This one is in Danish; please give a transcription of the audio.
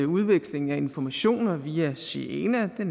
udvekslingen af informationer via siena er